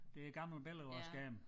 Det et gammelt billede af en skærm